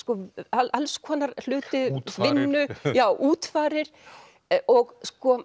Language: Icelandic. alls konar hluti útfarir já útfarir og